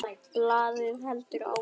Og blaðið heldur áfram